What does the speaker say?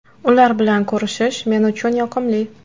Ular bilan ko‘rishish men uchun yoqimli.